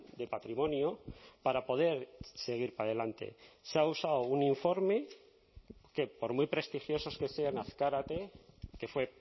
de patrimonio para poder seguir para adelante se ha usado un informe que por muy prestigiosos que sean azkarate que fue